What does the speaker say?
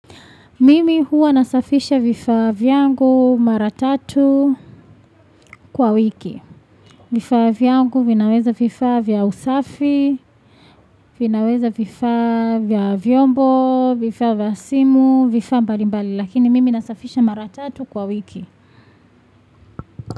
Mimi huwa nasafisha vifaa vyangu mara tatu kwa wiki. Vifaa vyangu vinaweza vifaa usafi, vinaweza vifaa vya vyombo, vifaa vya simu, vifaa vya mbali mbali lakini mimi nasafisha mara tatu kwa wiki.